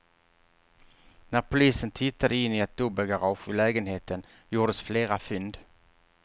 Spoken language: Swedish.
När polisen tittade in i ett dubbelgarage vid lägenheten gjordes flera fynd.